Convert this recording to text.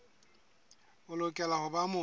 o lokela ho ba motho